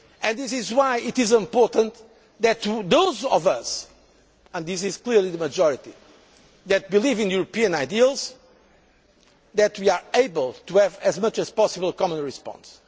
This is why it is important to those of us and this is clearly the majority that believe in European ideals that we are able to have as much as possible a common response.